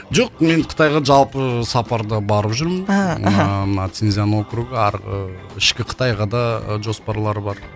жоқ мен қытайға жалпы сапарда барып жүрмін мхм мына синьцзян округі ы ішкі қытайға да жоспарлар бар